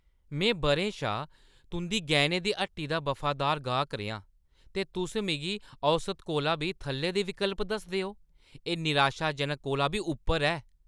में बʼरें शा तुंʼदी गैह्‌नें दी हट्टी दा वफादार गाह्क रेहा आं, ते तुस मिगी औसत शा बी थल्ले दे विकल्प दसदे ओ? एह् निराशाजनक कोला बी उप्पर ऐ।